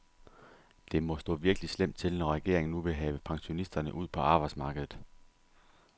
Det må stå virkelig slemt til, når regeringen nu vil have pensionisterne ud på arbejdsmarkedet.